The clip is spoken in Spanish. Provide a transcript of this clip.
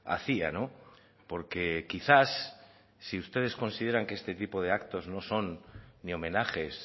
hacía porque quizás si ustedes consideran que este tipo de actos no son ni homenajes